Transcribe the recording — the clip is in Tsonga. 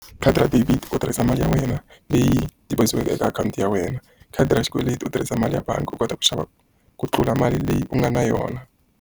Khadi ra debit u tirhisa mali ya wena leyi deposit-iweke eka akhawunti ya wena. Khadi ra xikweleti u tirhisa mali ya bangi u kota ku xava ku tlula mali leyi u nga na yona.